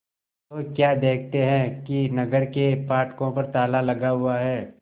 तो क्या देखते हैं कि नगर के फाटकों पर ताला लगा हुआ है